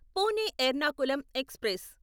Pune Ernakulam express